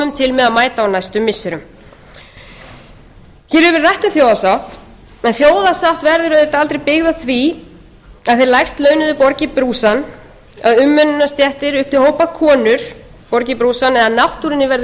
með að mæta á næstu missirum hér hefur verið rætt um þjóðarsátt en þjóðarsátt verður auðvitað aldrei byggð á því að þeir lægst launuðu borgi brúsann að umönnunarstéttir upp til hópa konur borgi brúsann eða að náttúrunni verði